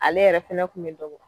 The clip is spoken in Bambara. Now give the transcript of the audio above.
Ale yɛrɛ fɛnɛ kun be dɔ bɔ